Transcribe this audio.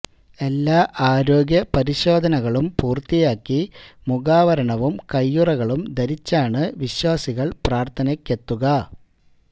എല്ലാ ആരോഗ്യ പരിശോധനകളും പൂര്ത്തിയാക്കി മുഖാവരണവും കയ്യുറകളും ധരിച്ചാണ് വിശ്വാസികള് പ്രാര്ത്ഥനക്കെത്തുക